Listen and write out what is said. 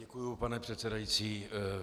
Děkuji, pane předsedající.